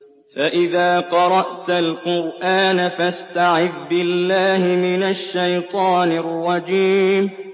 فَإِذَا قَرَأْتَ الْقُرْآنَ فَاسْتَعِذْ بِاللَّهِ مِنَ الشَّيْطَانِ الرَّجِيمِ